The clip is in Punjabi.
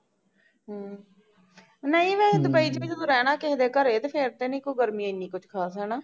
ਨਹੀਂ ਵੇਹੇ ਦੁਬਈ ਤੂੰ ਰਹਿਣਾ ਕਿਸੇ ਦੇ ਘਰੇ ਤੇ ਫੇਰ ਤੇ ਨੀ ਗਰਮੀ ਇੰਨੀ ਕੁਜ ਖ਼ਾਸ